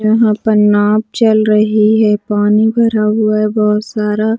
यहाँ पर नांव चल रही है पानी भरा हुआ है बहुत सारा --